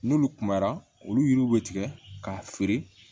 N'olu kumara olu yiriw bɛ tigɛ k'a feere